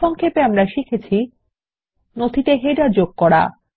সংক্ষেপ আমরা শিখেছি নথিতে কিভাবে শিরোলেখ যোগ করা যায়